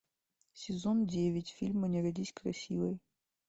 сезон девять фильма не родись красивой